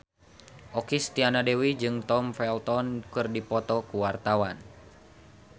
Okky Setiana Dewi jeung Tom Felton keur dipoto ku wartawan